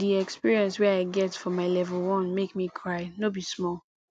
di experience way i get for my level 1 make me cry no be small